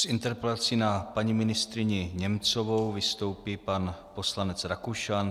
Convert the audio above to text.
S interpelací na paní ministryni Němcovou vystoupí pan poslanec Rakušan.